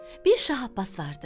Bir Şah Abbas vardı.